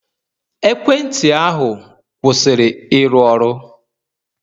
Ekwentị ahu, kwụsịrị ịrụ ọrụ.